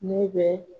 Ne bɛ